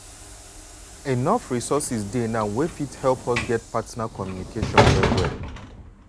shay um you um know say plenty people still dey get bad ideas um about partner communication. partner communication.